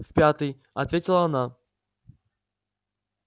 в пятый ответила она